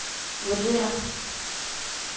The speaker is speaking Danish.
vurderer